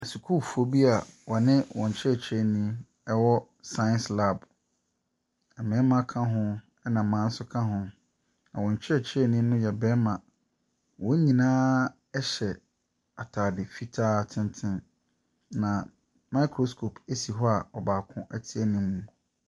Sukuufoɔ bi wɔne wɔn kyerɛkyerɛni wɔ science lab, mmarima ka ho na mmaa nso ka ho. Na wɔn kyerɛkyerɛni no yɛ barima. Wɔn nyinaa hyɛ ataade fitaa tenten, na microscope si hɔ a baako te anim.